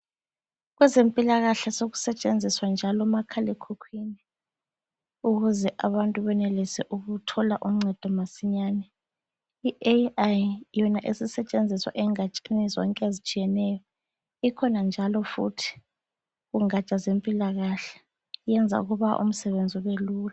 Kwezempila kahle sekusetshenziswa njalo umakhala ekhukhwini ukuze abantu benelise ukuthola uncedo masinyane . I AI yona isisetshenziswa engatsheni zonke ezitshiyaneyo, ikhona njalo futhi kungatsha zempilakahle yenza ukuba umsebenzi ube lula.